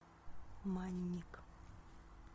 манник